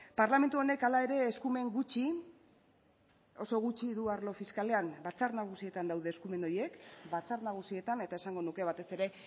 parlamentu honek hala ere eskumen gutxi oso gutxi du arlo fiskalean batzar nagusietan daude eskumen horiek batzar nagusietan eta esango nuke batez ere